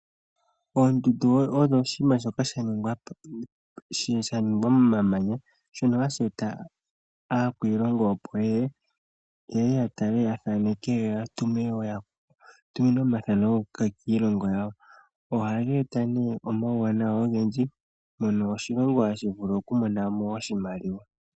Oondundu odho oshinima shoka shaningwa po shaningwa momamanya shono hashi eta aakwiilongo opo yeye, yeye yatale yathaaneke yo yatumine omathaano kiilongo yawo. Ohaga eta ne omawuwanawa ogendji mono oshilongo hashivulu okumonamo oshimaliwa.